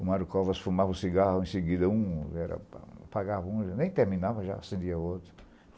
O Mário Covas fumava um cigarro, em seguida um, apagava um, nem terminava, já acendia outro.